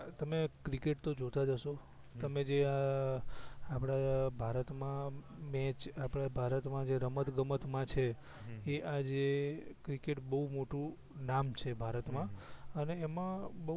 તમે ક્રિકેટ તો જોતાં જ હસો હમ તમે જે આ આપડે ભારત માં મેચ આપડે જે ભારત માં જે રમતગમત માં છે હમ એ આજે ક્રિકેટ બવ મોટું નામ છે ભારત મા હમ હમ અને એમાં બવ